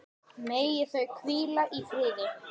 Megi þau hvíla í friði.